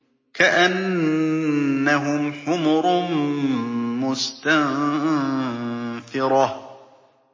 كَأَنَّهُمْ حُمُرٌ مُّسْتَنفِرَةٌ